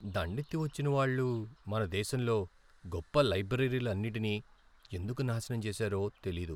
దండెత్తి వచ్చిన వాళ్ళు మన దేశంలో గొప్ప లైబ్రరీలన్నిటినీ ఎందుకు నాశనం చేసారో తెలీదు.